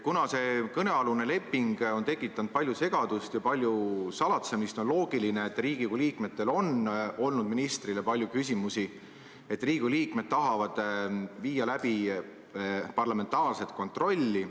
Kuna see kõnealune leping on tekitanud palju segadust ja palju salatsemist, on loogiline, et Riigikogu liikmetel on olnud ministrile palju küsimusi, et Riigikogu liikmed tahavad läbi viia parlamentaarset kontrolli.